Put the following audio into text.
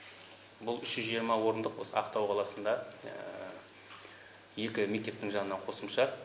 бұл үш жүз жиырма орындық осы ақтау қаласында екі мектептің жанынан қосымша